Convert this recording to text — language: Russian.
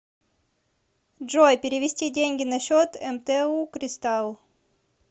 джой перевести деньги на счет мту кристалл